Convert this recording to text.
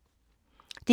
DR1